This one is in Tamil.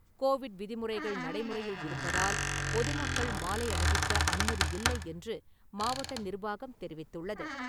கோவிட் விதிமுறைகள் நடைமுறையில் இருப்பதால், பொதுமக்கள் மாலை அணிவிக்க அனுமதியில்லை என்று மாவட்ட நிர்வாகம் தெரிவித்துள்ளது.